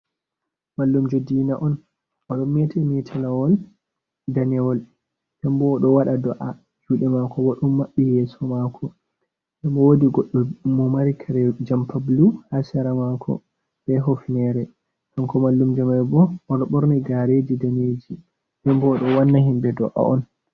Mallumjo dina on odon meta metalawol danewol hembo wodo wada do’a, jude mako bo ɗum maɓɓi yeso mako, dembo wadi goɗɗo mo mari kare jampablu ha sera mako be hofnere. Kanko mallumjo mambo odo borni gareji daneji dembo odo wanna himbe do’a on.